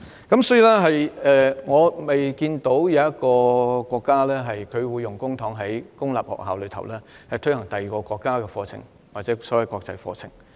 因此，沒有一個國家會使用公帑在公立學校推行其他國家的課程或國際課程。